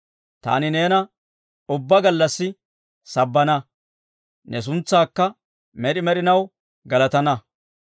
Taani neena ubbaa gallassi sabbana; ne suntsaakka med'i med'inaw galatana.